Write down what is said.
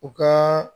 U ka